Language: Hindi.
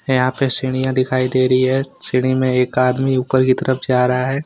यहां पे सीढ़ियां दिखाई दे रही है सीढ़िया में एक आदमी ऊपर की तरफ जा रहा है।